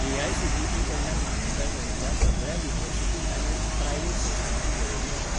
AICTE कडल्यान मान्यताय मेळिल्ल्या सगळ्या युनिव्हर्सिटी मॅनेज्ड प्रायव्हेट संस्थांची वळेरी दाखय